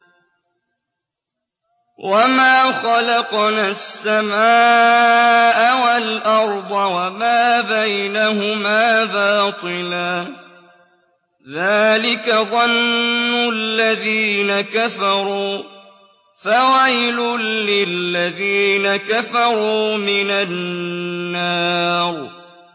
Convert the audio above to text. وَمَا خَلَقْنَا السَّمَاءَ وَالْأَرْضَ وَمَا بَيْنَهُمَا بَاطِلًا ۚ ذَٰلِكَ ظَنُّ الَّذِينَ كَفَرُوا ۚ فَوَيْلٌ لِّلَّذِينَ كَفَرُوا مِنَ النَّارِ